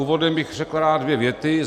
Úvodem bych rád řekl dvě věty.